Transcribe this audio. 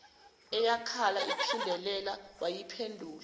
eyakhala iphindelela wayiphendula